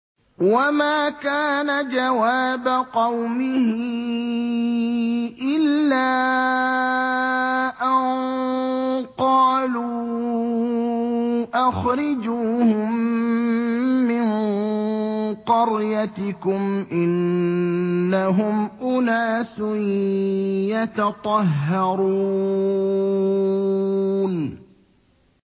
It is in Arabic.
وَمَا كَانَ جَوَابَ قَوْمِهِ إِلَّا أَن قَالُوا أَخْرِجُوهُم مِّن قَرْيَتِكُمْ ۖ إِنَّهُمْ أُنَاسٌ يَتَطَهَّرُونَ